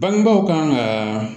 Bangebaaw kan ka